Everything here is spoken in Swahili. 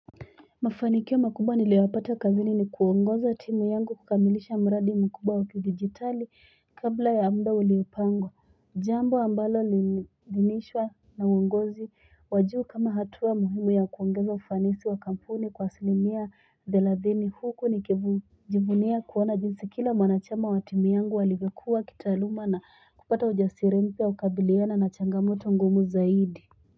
Mafanikio makubwa niliyoyapata kazini ni kuongoza timu yangu kukamilisha mradi mkubwa wa kidigitali kabla ya mda uliopangwa jambo ambalo linishwa na uongozi wa juu kama hatua muhimu ya kuongeza ufanisi wa kampuni kwa asilimia thelathini huku nikijivunia kuona jinsi kila mwanachama wa timu yangu alivyokua kitaaluma na kupata ujasiri mpya wa kukabiliana na changamoto ngumu zaidi.